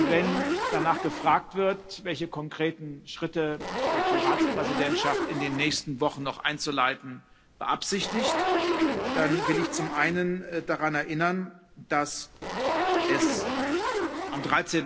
Wenn danach gefragt wird, welche konkreten Schritte die Ratspräsidentschaft in den nächsten Wochen noch einzuleiten beabsichtigt, dann will ich zum einen daran erinnern, dass es am